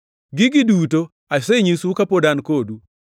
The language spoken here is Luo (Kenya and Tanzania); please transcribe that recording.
“Gigi duto asenyisou kapod an kodu.